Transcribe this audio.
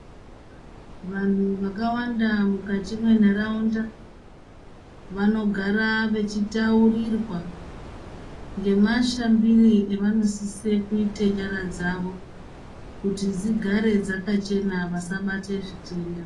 Vanhu vakawanda mukati mwenharaunda vanogara vechitaurirwa ngemashambire avanosise kuite nyara dzavo, kuti dzigare dzakachena vasabate zvitenda.